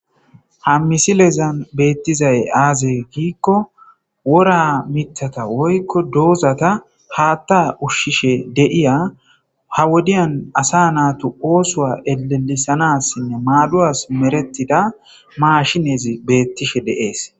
ha misilezan beettizay aaze giikko wor amithata woykko doozata haatta ushshishe de'iya ha wodiyan asa naatu oosoa elelisanassinne maaduwas merettida maashineezi beettishe deees